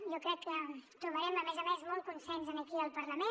jo crec que trobarem a més a més molt consens aquí al parlament